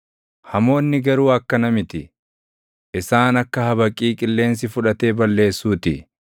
Hamoonni garuu akkana miti; isaan akka habaqii qilleensi fudhatee balleessuu ti.